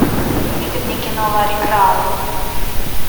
выведи мне кино ларри краун